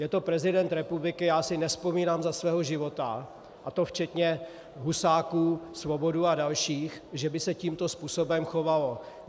Je to prezident republiky, já si nevzpomínám za svého života, a to včetně Husáků, Svobodů a dalších, že by se tímto způsobem chovali.